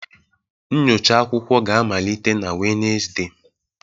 Nyocha akwụkwọ ga-amalite na Wednesde